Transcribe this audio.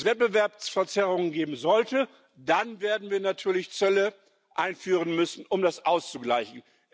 Wenn es Wettbewerbsverzerrungen geben sollte, dann werden wir natürlich Zӧlle einführen müssen, um das auszugleichen.